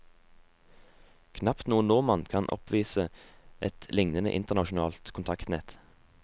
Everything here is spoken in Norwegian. Knapt noen nordmann kan oppvise et lignende internasjonalt kontaktnett.